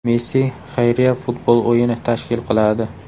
Messi xayriya futbol o‘yini tashkil qiladi.